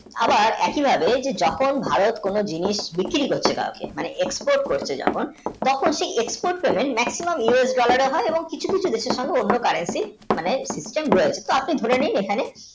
আবার একই ভাবে যে যখন ভারত কোনো জিনিস বিক্রী করছে কাও কে মানে export করছে যখন তখন সে export টোনের makcmamus dollar এর হয় এবং কিছু কিছু দেশের সঙ্গে অন্য মানে System weight আপনি ধরে নিন এখানে